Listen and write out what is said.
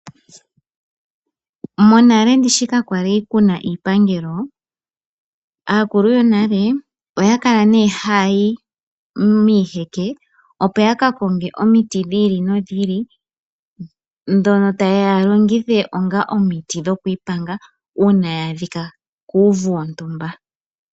Monale ndishi kakwali kuna iipangelo, aakulu yonale okwali nee haya yi miiheke opo yaka konge omiiti dhi ili nodhi ili dhono taaya ya longithe onga omiiti dhoku iipanga una ya adhika kuuvu wontumba.